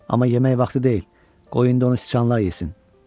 Amma yemək vaxtı deyil, qoy indi onu siçanlar yesin.